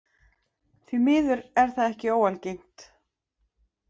Því miður er það ekki óalgengt.